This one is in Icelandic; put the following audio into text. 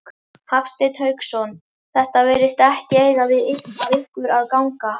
Hafsteinn Hauksson: Það virðist ekki eiga af ykkur að ganga?